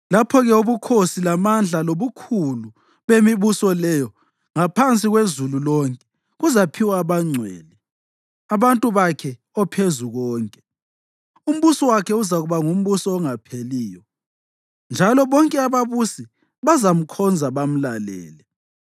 Lapho-ke ubukhosi, lamandla lobukhulu bemibuso leyo ngaphansi kwezulu lonke kuzaphiwa abangcwele, abantu bakhe oPhezukonke. Umbuso wakhe uzakuba ngumbuso ongapheliyo, njalo bonke ababusi bazamkhonza bamlalele.